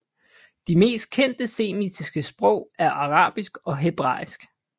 De mest kendte semitiske sprog er arabisk og hebræisk